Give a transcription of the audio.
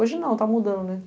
Hoje não, está mudando.